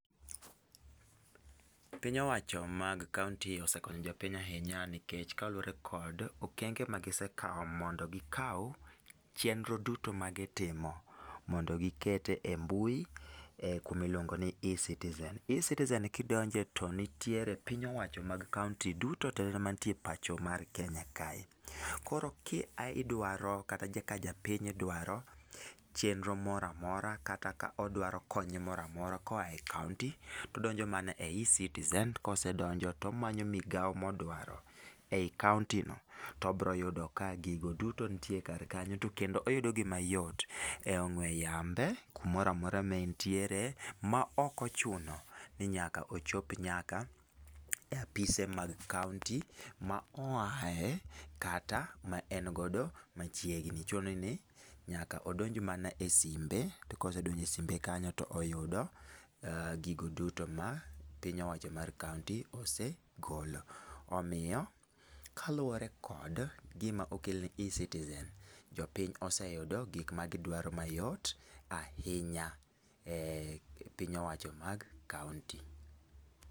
Piny owacho mag kaonti osekonyo jopiny ahinya nikech kaluwore kod okenge magisekawo mondo gikaw chenro duto magitimo mondo giket e mbui e kuma iluongo ni Ecitizen. Ecitizen kidonje to nitiere piny owacho mag kaonti duto tetete mantie e pacho mar Kenya kae. Koro ka idwaro kata ka japiny dwaro chenro moramora kata ka odwaro kony moramora koa e kaonti, to odonjo mana e Ecitizen, kosedonjo tomanyo migao modwaro ei kaonti no. To obiro yudo ka gigo duto nitie kar kanyo to kendo oyudo gi mayot, e ong'we yambe, kumoramora ma entiere, ma ok ochuno ni nyaka ochop nyaka e apise mag kaonti ma oae, kata ma en godo machiegni. Chune ni, nyaka odonj mana e simbe, to kosedonjo e simbe kanyo to oyudo gigo duto ma piny owacho mar kaonti osegolo. Omiyo, kaluwore kod gima okel ni Ecitizen, jopiny oseyudo gik magidwaro mayot ahinya e piny owacho mag kaonti.